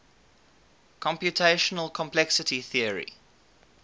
computational complexity theory